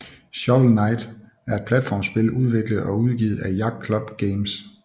Shovel Knight er et platformspil udviklet og udgivet af Yacht Club Games